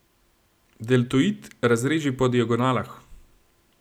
Deltoid razreži po diagonalah.